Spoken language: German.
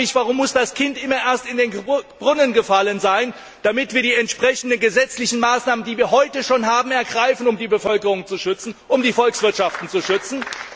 Ich frage mich, warum muss das Kind immer erst in den Brunnen gefallen sein, damit wir die entsprechenden gesetzlichen Maßnahmen, die wir heute schon haben, ergreifen, um die Bevölkerungen und die Volkswirtschaften zu schützen?